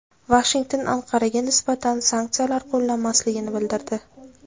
Vashington Anqaraga nisbatan sanksiyalar qo‘llanmasligini bildirdi.